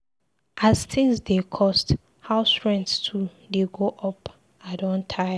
As tins dey cost, house rent too dey go up, I don tire.